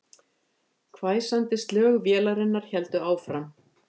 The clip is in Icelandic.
Hvæsandi slög vélarinnar héldu áfram